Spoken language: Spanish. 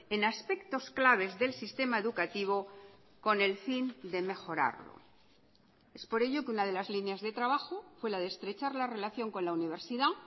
en aspectos claves del sistema educativo con el fin de mejorarlo es por ello que una de las líneas de trabajo fue la de estrechar la relación con la universidad